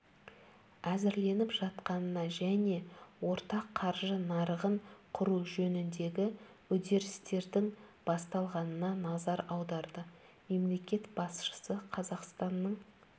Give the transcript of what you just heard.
әзірленіп жатқанына және ортақ қаржы нарығын құру жөніндегі үдерістердің басталғанына назар аударды мемлекет басшысы қазақстанның